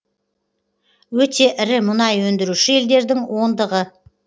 өте ірі мұнай өндіруші елдердің ондығы